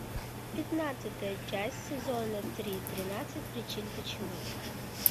пятнадцатая часть сезона три тринадцать причин почему